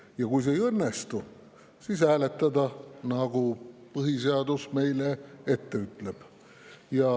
Ja kui see ei õnnestu, siis hääletada, nagu põhiseadus meile ette ütleb.